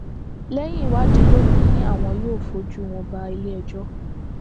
lẹyìn ìwádìí ló ní àwọn yóò fojú wọn bá iléẹjọ